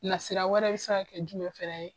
Na sira wɛrɛ bɛ se ka kɛ jumɛn fana ye?